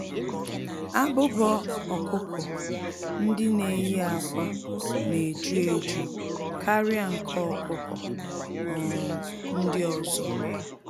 Abụba ọkụkọ-ndị-neyi-ákwà n'eju-eju karịa nke ọkụkọ um ndị ọzọ.